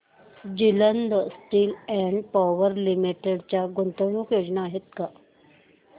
Jindal steel and power limited च्या गुंतवणूक योजना आहेत का